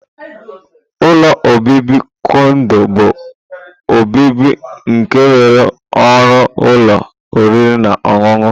Ụlọ obibi kondo bu obibi nke nwere ọrụ ụlọ oriri na ọṅụṅụ.